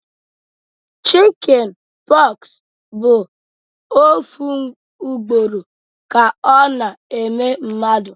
Chicjen pox bụ ofu ugboro ka ọ na eme mmadụ